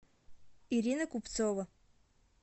ирина купцова